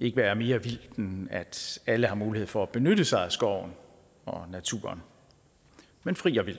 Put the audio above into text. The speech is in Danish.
ikke være mere vildt end at alle har mulighed for at benytte sig af skoven og naturen men fri og vild